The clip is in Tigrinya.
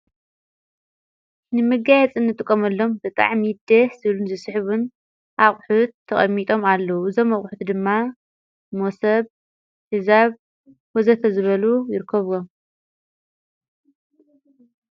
ንምጋያፂን ንጥቖመሎም በጣዕሚ ደስ ዝብሉን ዝስሕቡን ኣቝሑት ተቐሚጦም ኣለዉ እዞም ኣቝሑት ድማ ሞሰብ ፣ሕዛብ ወዘተ ዝበሉ ይርከብዎም።